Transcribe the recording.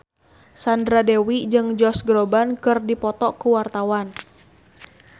Sandra Dewi jeung Josh Groban keur dipoto ku wartawan